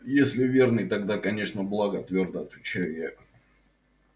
если верный тогда конечно благо твёрдо отвечаю я